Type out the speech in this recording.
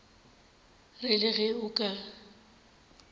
re le ge o ka